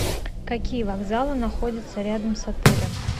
какие вокзалы находятся рядом с отелем